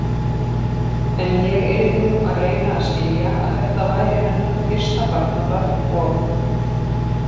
En ég yrði nú að reyna að skilja, að þetta væri hennar fyrsta barnabarn og.